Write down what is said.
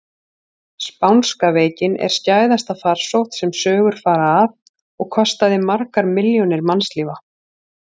Spánska veikin er skæðasta farsótt sem sögur fara af og kostaði margar milljónir mannslífa.